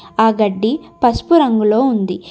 ఆ గడ్డి పసుపు రంగులో ఉంది.